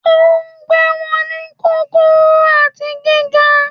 Ó ń gbé wọn ní kúkúrú àti gíga